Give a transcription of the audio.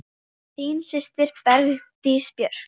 Þín systir, Bergdís Björt.